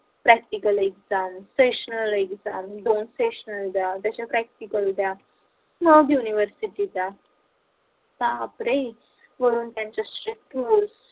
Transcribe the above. practical examsessional exam दोन seasonal द्या त्याच्या practical द्या मग university चा बापरे म्हणून त्यांच्याशी